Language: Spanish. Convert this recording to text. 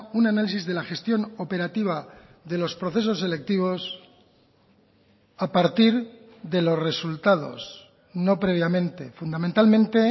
un análisis de la gestión operativa de los procesos selectivos a partir de los resultados no previamente fundamentalmente